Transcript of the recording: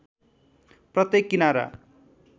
प्रत्येक किनारा